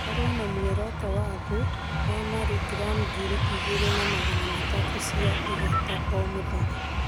Korwo na mũoroto wa thĩ wa mirigramu ngiri igĩrĩ na magana matatũ cia igata o mũthenya